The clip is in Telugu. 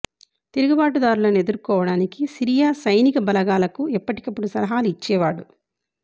తిరుగుబాటుదారులను ఎదుర్కోవడానికి సిరియా సైనిక బలగాలకు ఎప్పటికప్పుడు సలహాలు ఇచ్చేవాడు